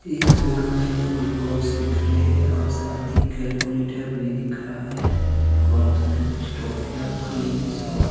इस फोटो मे हमें कुछ बॉक्स दिख रहे है और साथ ही कैलकुलेटर भी दिख रहा है बॉक्स में कुछ टोफिया क्रीम्स और--